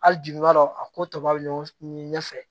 Hali jigi b'a dɔn a ko tɔba bɛ ɲɔgɔn ɲɛ fɛ